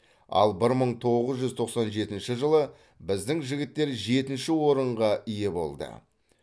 ал бір мың тоғыз жүз тоқсан жетінші жылы біздің жігіттер жетінші орынға ие болды